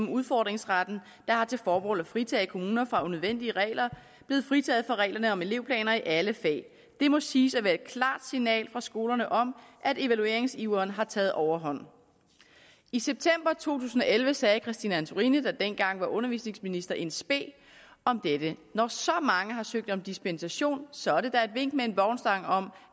udfordringsretten der har til formål at fritage kommuner for unødvendige regler blevet fritaget for reglerne om elevplaner i alle fag det må siges at være et klart signal fra skolerne om at evalueringsiveren har taget overhånd i september to tusind og elleve sagde christine antorini der dengang var undervisningsminister in spe om dette når så mange har søgt om dispensation så er det da et vink med en vognstang om